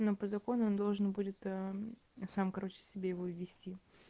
по закону должен будет сам короче себе его ввести